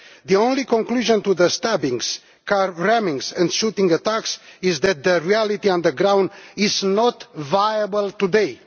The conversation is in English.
The only conclusion to the stabbings, car rammings and shooting attacks is that the reality on the ground is not viable today.